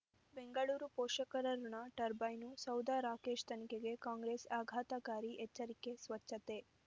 ಬೆಂಗಳೂರು ಪೋಷಕರಋಣ ಟರ್ಬೈನು ಸೌಧ ರಾಕೇಶ್ ತನಿಖೆಗೆ ಕಾಂಗ್ರೆಸ್ ಆಘಾತಕಾರಿ ಎಚ್ಚರಿಕೆ ಸ್ವಚ್ಛತೆ